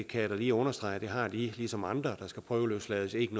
kan da lige understrege at de ligesom andre der skal prøveløslades ikke